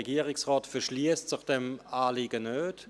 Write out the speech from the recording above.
Der Regierungsrat verschliesst sich diesem Anliegen nicht.